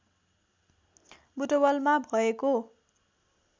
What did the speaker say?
बुटवलमा भएको